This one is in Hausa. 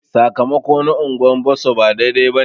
Sakamako na unguwar Bosso ba daidai bane.